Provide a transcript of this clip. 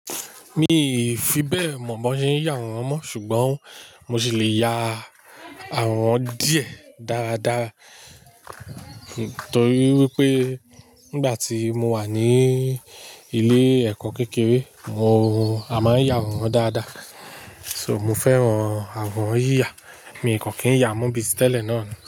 Mi ì fi bẹ́ẹ̀ mọ̀ bó ṣe ń yá àwọran mọ́ ṣùgbọ́n mo sì lè ya àwọn díẹ̀ dáradára torí wípé nígbà tí mo wà ní ilé ẹ̀kọ́ kékeré mo, a máa ń yá àwọran dáadáa. So mo fẹ́ran àwọran yíya, mi kò kì ń yá mọ́ bíi ti tẹ́lẹ̀ náà ni.